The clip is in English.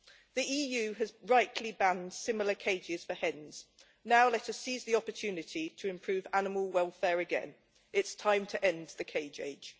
The EU has rightly banned similar cages for hens. Now let us seize the opportunity to improve animal welfare again. It is time to end the cage age.